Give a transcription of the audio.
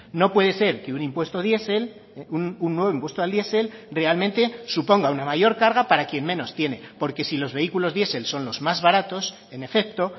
no puede ser que un impuesto diesel un nuevo impuesto al diesel realmente suponga una mayor carga para quien menos tiene porque si los vehículos diesel son los más baratos en efecto